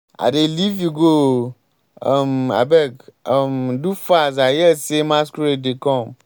i dey leave you go ooo. um abeg um do fast i hear say masquerade dey come.